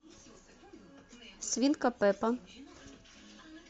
свинка пеппа